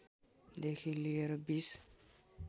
देखि लिएर २०